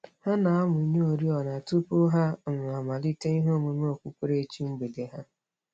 Ha na-amụnye oriọna tụpụ ha um amalite ihe ọmụmụ okpukperechi mgbede ha.